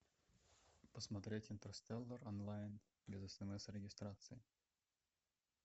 посмотреть интерстеллар онлайн без смс и регистрации